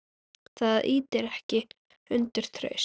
Það ýtir ekki undir traust.